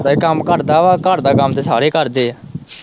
ਘਰ ਦਾ ਹੀ ਕੰਮ ਕਰਦਾ ਵਾ, ਘਰ ਦਾ ਕੰਮ ਤੇ ਸਾਰੇ ਕਰਦੇ ਏ।